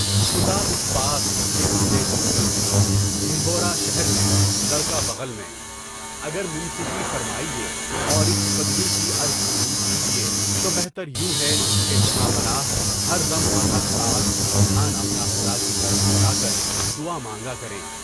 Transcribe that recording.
خدا اس پاس، یہ ڈھونڈے جنگل میں، ڈھنڈورا شہر میں، لڑکا بغل میں۔ اگر منصفانہ فیصلہ فرمائیے، اور اس فدوی کی عرض قبول فرمائیے تو بہتر یہ ہے کہ جہاں پناہ مردِ وقت اور مردِ ساعت، دھیان اپنا خدا کی طرف لگا کر دعا مانگا کریں۔